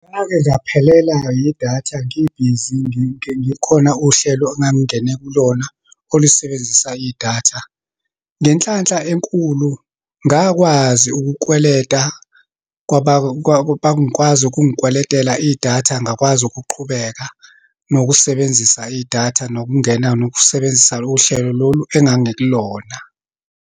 Ngake ngaphelela yidatha ngibhizi ngikhona uhlelo engangingene kulona olisebenzisa idatha. Ngenhlanhla enkulu, ngakwazi ukukweleta kwaba kwazi ukungikweletela idatha, ngakwazi ukuqhubeka nokusebenzisa idatha, nokungena, nokusebenzisa uhlelo lolu engangikulona.